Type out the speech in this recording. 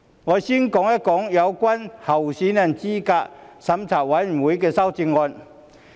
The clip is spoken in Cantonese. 我先說有關候選人資格審查委員會的修正案。